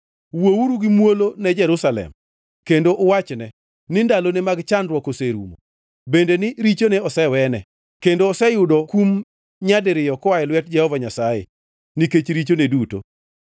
Wuouru gi muolo ne Jerusalem, kendo uwachne, ni ndalone mag chandruok oserumo, bende ni richone osewene, kendo oseyudo kum nyadiriyo koa e lwet Jehova Nyasaye nikech richone duto.